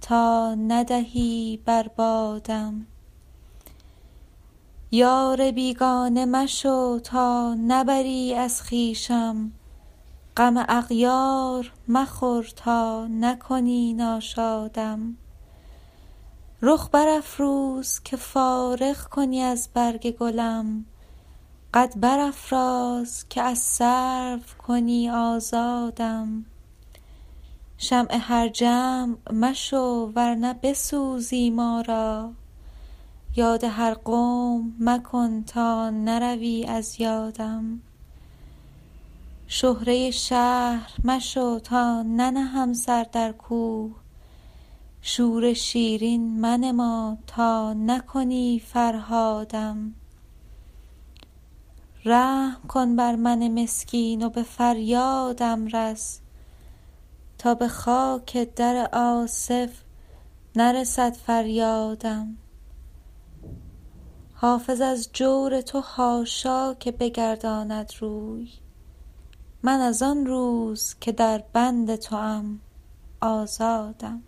تا ندهی بر بادم یار بیگانه مشو تا نبری از خویشم غم اغیار مخور تا نکنی ناشادم رخ برافروز که فارغ کنی از برگ گلم قد برافراز که از سرو کنی آزادم شمع هر جمع مشو ور نه بسوزی ما را یاد هر قوم مکن تا نروی از یادم شهره شهر مشو تا ننهم سر در کوه شور شیرین منما تا نکنی فرهادم رحم کن بر من مسکین و به فریادم رس تا به خاک در آصف نرسد فریادم حافظ از جور تو حاشا که بگرداند روی من از آن روز که در بند توام آزادم